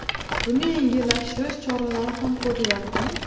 Buni yengillashtirish choralari ham ko‘rilyaptimi?